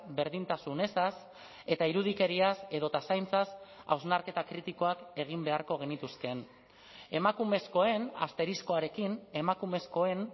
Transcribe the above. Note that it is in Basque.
berdintasun ezaz eta irudikeriaz edota zaintzaz hausnarketa kritikoak egin beharko genituzkeen emakumezkoen asteriskoarekin emakumezkoen